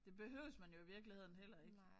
Det behøves man jo i virkeligheden heller ikke